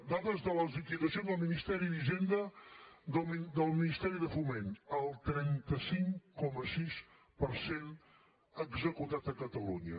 dades de les liquidacions del ministeri d’hisenda del ministeri de foment el trenta cinc coma sis per cent executat a catalunya